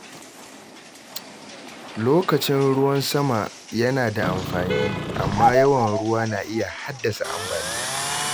Lokacin ruwan sama yana da amfani, amma yawan ruwa na iya haddasa ambaliya.